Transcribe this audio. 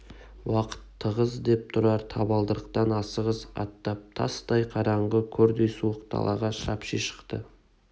уақыт тығыз деп тұрар табалдырықтан асығыс аттап тастай қараңғы көрдей суық далаға шапши шықты